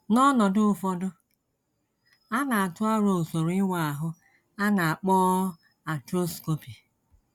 N’ọnọdụ ụfọdụ, a na - atụ aro usoro ịwa ahụ a na - akpọ arthroscopy.